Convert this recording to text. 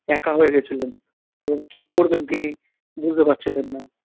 একা হয়ে গেছিলেন এবং কী করবেন তিনি বুঝতে পারছিলেন না।